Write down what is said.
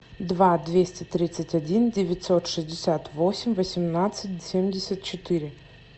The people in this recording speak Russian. два двести тридцать один девятьсот шестьдесят восемь восемнадцать семьдесят четыре